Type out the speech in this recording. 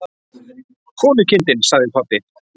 Konukindin, sagði pabbi.